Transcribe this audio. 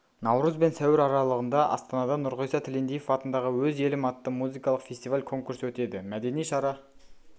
наурыз бен сәуір аралығында астанада нұрғиса тілендиев атындағы өз елім атты музыкалық фестиваль-конкурс өтеді мәдени шара